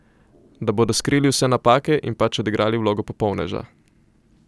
Da bodo skrili vse napake in pač odigrali vlogo popolneža.